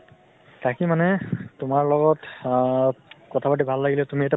তাকে মানে তোমাৰ লগত আ কথা পাতি ভাল লাগিলে । তুমি এটা